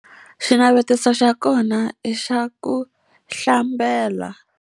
Xinavetiso xa kona i xa ku hlambela.